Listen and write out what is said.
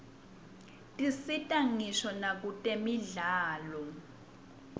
tisita ngisho nakwtemidlalo